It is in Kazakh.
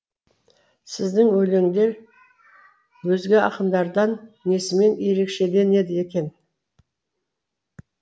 сіздің өлеңдер өзге ақындардан несімен ерекшеленді екен